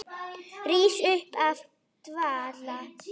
Rís upp af dvala.